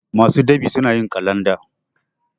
masu ɗab'i suna yin kalanda